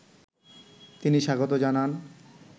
তিনি স্বাগত জানান